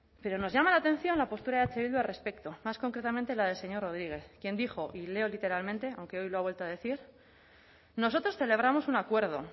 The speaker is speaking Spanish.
pero nos llama la atención la postura de eh bildu al respecto más concretamente la del señor rodriguez quien dijo y leo literalmente aunque hoy lo ha vuelto a decir nosotros celebramos un acuerdo